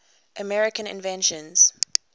american inventions